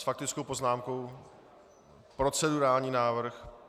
S faktickou poznámkou... procedurální návrh.